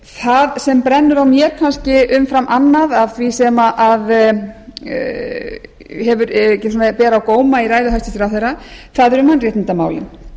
það sem brennur á mér kannski umfram annað af því sem ber á góma í ræðu hæstvirts ráðherra eru mannréttindamálin